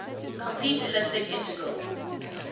complete elliptic integral